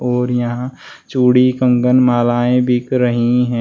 और यहां चूड़ी कंगन मालाएं बिक रही हैं।